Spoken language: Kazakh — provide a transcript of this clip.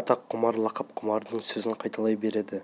атақ құмар лақап құмардың сөзін қайталай береді